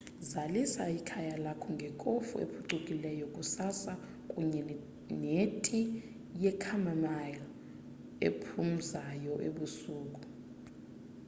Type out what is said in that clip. zalisa ikhaya lakho ngekofu ephucukileyo kusasa kunye neti ye chamomile ephumzayo ebusuku